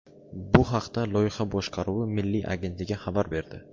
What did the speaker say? Bu haqda Loyiha boshqaruvi milliy agentligi xabar berdi .